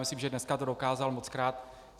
Myslím, že dneska to dokázal mockrát.